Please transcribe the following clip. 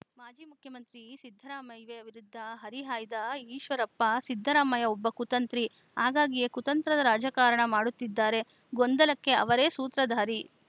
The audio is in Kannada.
ಮಾಜಿ ಮುಖ್ಯಮಂತ್ರಿ ಸಿದ್ದರಾಮಯ್ಯ ವಿರುದ್ಧ ಹರಿಹಾಯ್ದ ಈಶ್ವರಪ್ಪ ಸಿದ್ದರಾಮಯ್ಯ ಒಬ್ಬ ಕುತಂತ್ರಿ ಹಾಗಾಗಿಯೇ ಕುತಂತ್ರದ ರಾಜಕಾರಣ ಮಾಡುತ್ತಿದ್ದಾರೆ ಗೊಂದಲಕ್ಕೆ ಅವರೇ ಸೂತ್ರಧಾರಿ